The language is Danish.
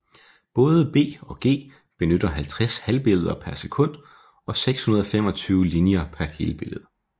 Både B og G benytter 50 halvbilleder per sekund og 625 linjer per helbillede